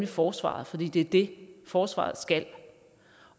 forsvaret fordi det er det forsvaret skal